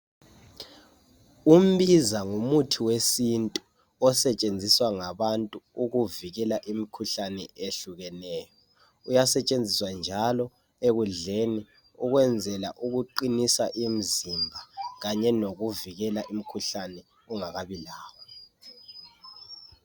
Umbiza ngumuthi wesintu osetshenziswa ngabantu ukuvikela imkhuhlane eyehlukeneyo. Uyasetshenziswa njalo ekudleni ukwenzela ukuqinisa imzimba kanye lokuvikela imkhuhlane ungakabilawo.